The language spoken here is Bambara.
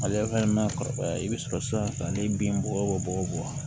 Mali yɛrɛ ma kɔrɔbaya i bɛ sɔrɔ sisan n'i ye bin bɔgɔ bɔ bɔgɔ bɔ